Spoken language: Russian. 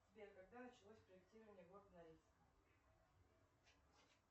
сбер когда началось проектирование города норильска